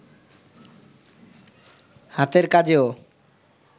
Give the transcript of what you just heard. হাতের কাজেও